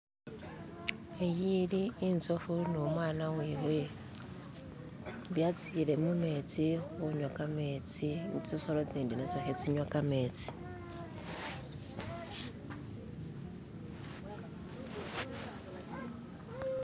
Iyi ili inzofu ni umwana wewe byatsiile mumetsi khunywa kametsi tsisolo tsitsindi natsyo khatsinywa kametsi.